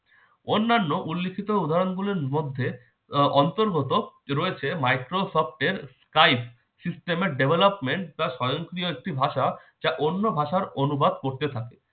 অন্যান্য উল্লেখিত উদাহরণ গুলোর মধ্যে আহ অন্তর্গত রয়েছে microsoft এর kite system এর development যা স্বয়ংক্রিয় একটি ভাষা যা অন্য ভাষার অনুবাদ করতে পারে।